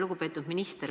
Lugupeetud minister!